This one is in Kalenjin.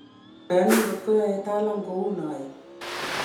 moyoni ngot koyoe Talam kou noe